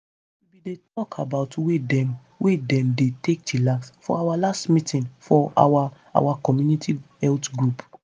we bin dey talk about way dem wey dem dey take chillax for our last meeting for our our community health group.